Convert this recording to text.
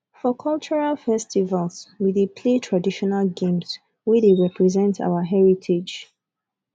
for cultural festivals we dey play traditional games wey dey represent our heritage